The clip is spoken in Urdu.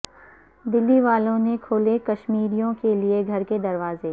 دلی والو ں نے کھولے کشمیریوں کیلئے گھر کے دروازے